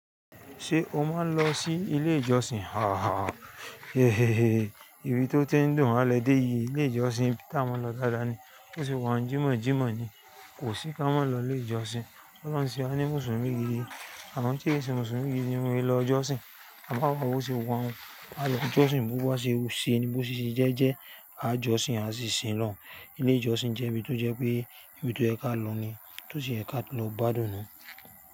Ṣé o máa ń lọ sí ilé ìjọsìn? Haha, hehehe, ibi tó ti ń dùn máa ń lẹ dé yìí, ilé ìjọsìn tí a máa ń lọ dáadáa ni. Bo ṣe wọ́n jí mọ̀ọ́ jí mọ̀ọ́ ni, kò sí ká mọ́ lọ ilé ìjọsìn. Ki olohun ń ṣe wàní Mùsùlùmí gidi, awon ti n sẹ Mùsùlùmí gidi won n lọ jọsìn. À bá wà bo ṣe wọ́n wà, a lọ ìjọsìn, bó bá ṣe rí sí i ni bó ṣe sì jẹ́, jẹ́ a jọsìn, a sì sin lọhun. Ilé ìjọsìn jẹ́ ibi tó jẹ́ pé ibi tó ẹ̀ ka lọ ni, tó sì ẹ̀ ka lọ gbádùn ni.